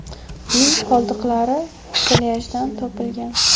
Uning qoldiqlari plyajdan topilgan.